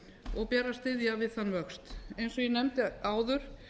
og ber að styðja við þann vöxt eins og ég nefndi áður